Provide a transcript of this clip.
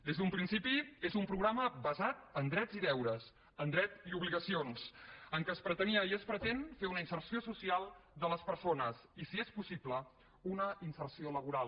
des d’un principi és un programa basat en drets i deures en drets i obligacions en què es pretenia i es pretén fer una inserció social de les persones i si és possible una inserció laboral